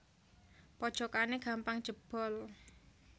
Pojokane gampang jebol